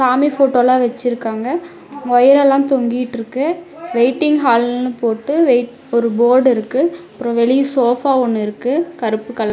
சாமி ஃபோட்டோல்லா வெச்சிருக்காங்க ஒயரல்லா தொங்கிட்ருக்கு வெயிட்டிங் ஹால்னு போட்டு வெயிட் ஒரு போர்டு இருக்கு அப்றோ வெளிய சோஃபா ஒன்னு இருக்கு கருப்பு கல --